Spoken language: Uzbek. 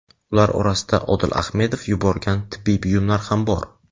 Ular orasida Odil Ahmedov yuborgan tibbiy buyumlar ham bor.